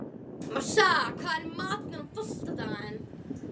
Marsa, hvað er í matinn á föstudaginn?